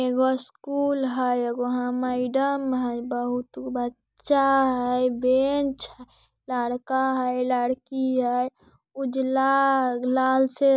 एगो स्कुल हेय एगो हीया मैडम हेय बहुत गो बच्चा हेय बेंच हेय लड़का हेय लड़की हेय उजला लाल से --